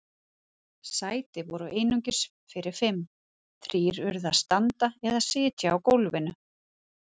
Sæti voru einungis fyrir fimm- þrír urðu að standa eða sitja á gólfinu.